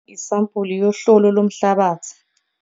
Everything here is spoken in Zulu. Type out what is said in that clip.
Isampuli yohlolo lomhlabathi